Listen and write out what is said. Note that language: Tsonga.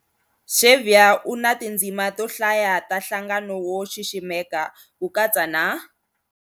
Xavier u na tindzima to hlaya ta nhlangano wo xiximeka, ku katsa na-